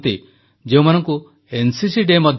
ମୋର ପ୍ରିୟ ଦେଶବାସୀ ମନ୍ କୀ ବାତ୍ରେ ଆପଣ ସଭିଙ୍କୁ ସ୍ୱାଗତ